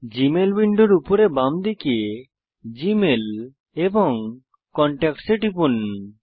Gmail উইন্ডোর উপরে বাম দিকে জিমেইল এবং কনট্যাক্টস এ টিপুন